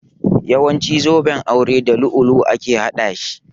Yawancin zuben aure da dutsen lu'ulu'u ake haɗa shi